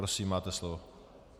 Prosím, máte slovo.